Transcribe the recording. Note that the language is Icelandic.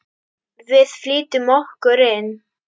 Við flýtum okkur inn.